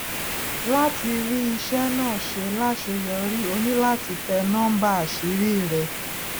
láti rí iṣẹ náà ṣe láṣeyọrí o ní láti tẹ núḿbà àṣírí rẹ